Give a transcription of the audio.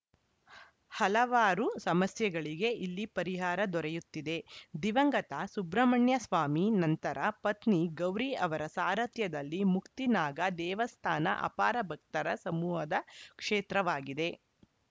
ಹಲವಾರು ಸಮಸ್ಯೆಗಳಿಗೆ ಇಲ್ಲಿ ಪರಿಹಾರ ದೊರೆಯುತ್ತಿದೆ ದಿವಂಗತ ಸುಬ್ರಹ್ಮಣ್ಯಸ್ವಾಮಿ ನಂತರ ಪತ್ನಿ ಗೌರಿ ಅವರ ಸಾರಥ್ಯದಲ್ಲಿ ಮುಕ್ತಿ ನಾಗ ದೇವಸ್ಥಾನ ಅಪಾರ ಭಕ್ತರ ಸಮೂಹದ ಕ್ಷೇತ್ರವಾಗಿದೆ